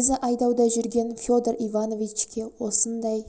өзі айдауда жүрген федор ивановичке осындай